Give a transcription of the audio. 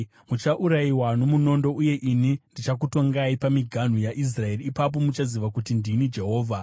Muchaurayiwa nomunondo, uye ini ndichakutongai pamiganhu yaIsraeri. Ipapo muchaziva kuti ndini Jehovha.